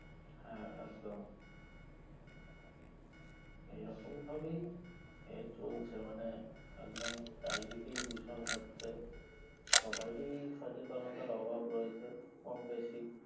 হ্যাঁ একদম এই রকম ভাবেই এ চলচ্ছে মানে একদম চারিদিকেই দূষণ হচ্ছে সবারি সচেতনতার অভাব রয়েছে কম বেশি